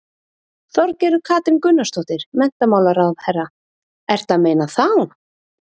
Þorgerður Katrín Gunnarsdóttir, menntamálaráðherra: Ertu að meina þá?